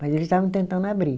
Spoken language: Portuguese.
Mas eles estavam tentando abrir.